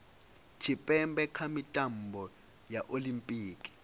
tshipembe kha mitambo ya olimpiki